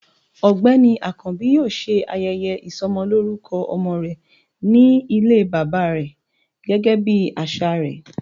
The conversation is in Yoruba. ọgbẹni akanbi yọọ se ayéyé isómolorúkó omo re, ní ilé baba re gégé bí asà re